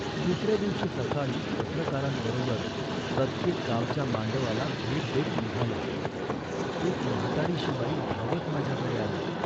दुसऱ्या दिवशी सकाळी पत्रकारांबरोबर प्रत्येक गावच्या मांडवाला भेट देत निघालो. एक म्हातारीशी बाई धावत माझ्याकडे आली